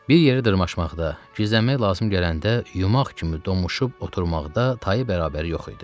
Bir yerə dırmaşmaqda, gizlənmək lazım gələndə, yumaq kimi donuşub oturmaqda tayı bərabəri yox idi.